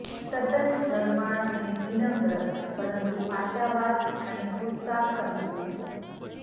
તદ્દન શરમાળ અને વિનમ્ર પરંતુ આશાવાદ અને ઉત્સાહ સંપૂર્ણ